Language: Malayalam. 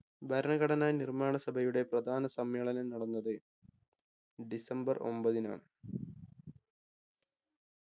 ഭരണഘടനാ നിർമ്മാണ സഭയുടെ പ്രധാന സമ്മേളനം നടന്നത് ഡിസംബർ ഒമ്പതിനാണ്